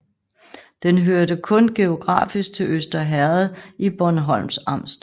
Den hørte kun geografisk til Øster Herred i Bornholms Amt